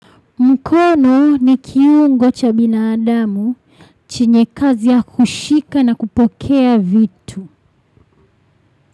Mkono ni kiungo cha binadamu. Chenye kazi ya kushika na kupokea vitu.